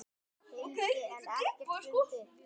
hildi en ekkert fundið.